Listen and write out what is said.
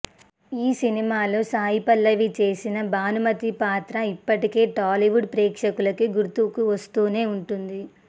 ఆ సినిమాలో సాయి పల్లవి చేసిన భానుమతి పాత్ర ఇప్పటికీ టాలీవుడ్ ప్రేక్షకులకి గుర్తుకు వస్తూనే ఉంటుంది